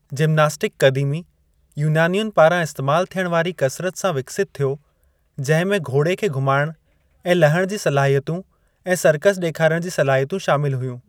Gymnastic क़दीमी यूनानियुनि पारां इस्तैमाल थियणु वारी कसरत सां विकसित थियो जिंहिं में घोड़े खे घुमायणु ऐं लहणु जी सलाहियतूं ऐं सर्कस डे॒खारणु जूं सलाहियतूं शामिलु हुयूं।